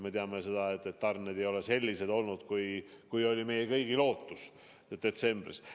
Me teame, et tarned ei ole olnud sellised, nagu oli meie kõigi lootus detsembris.